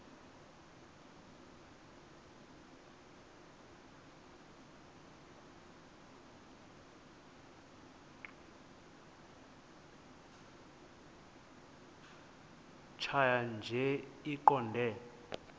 tjhaya nje iqondee